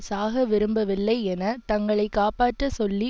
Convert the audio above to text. சாகவிரும்பவில்லை என தங்களை காப்பாற்றச் சொல்லி